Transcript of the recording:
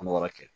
An bɛ yɔrɔ kɛ